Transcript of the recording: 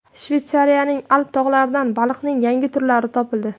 Shveysariyaning Alp tog‘laridan baliqning yangi turlari topildi.